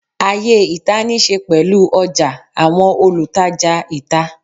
Ayé ìta níí ṣe pẹ̀lú ọjà, àwọn olùtajà ìta